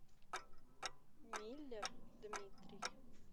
миллер дмитрий